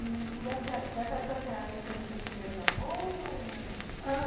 E, nessa época, a senhora já teve seu primeiro namoro... ou ainda não? Ah,